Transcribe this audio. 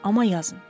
Amma yazın.